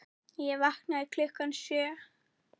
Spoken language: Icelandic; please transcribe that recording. Ég vaknaði klukkan sjö.